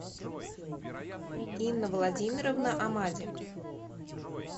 инна владимировна амади